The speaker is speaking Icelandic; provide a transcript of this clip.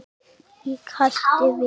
Ég hætti við.